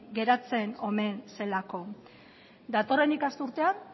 geratzen omen zelako